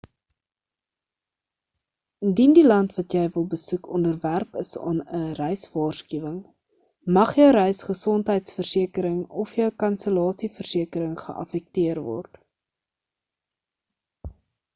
indien die land wat jy wil besoek onderwerp is aan 'n reiswaarskuwing mag jou reis gesondheidsversekering of jou kansellasie versekering geaffekteer word